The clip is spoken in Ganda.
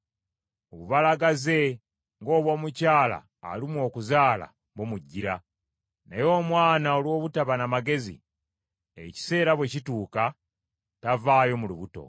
Obubalagaze ng’obw’omukyala alumwa okuzaala bumujjira, naye omwana olw’obutaba n’amagezi, ekiseera bwe kituuka, tavaayo mu lubuto.